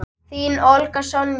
Þín, Olga Sonja.